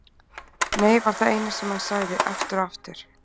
Nei var það eina sem hann sagði, aftur og aftur.